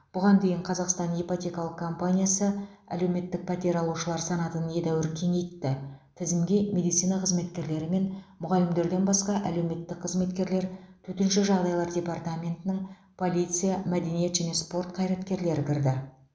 бұған деиін қазақстан ипотекалық компаниясы әлеуметтік пәтер алушылар санатын едәуір кеңеитті тізімге медицина қызметкерлері мен мұғалімдерден басқа әлеуметтік қызметкерлер төтенше жағдаилар департаментінің полиция мәдениет және спорт қаираткерлері кірді